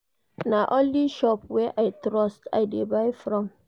Na only shop wey I trust I dey buy from.